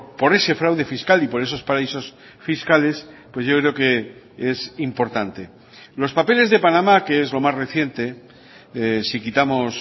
por ese fraude fiscal y por esos paraísos fiscales pues yo creo que es importante los papeles de panamá que es lo más reciente si quitamos